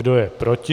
Kdo je proti?